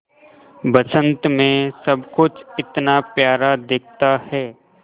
बसंत मे सब कुछ इतना प्यारा दिखता है